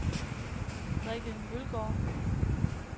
Rikke Mølgaard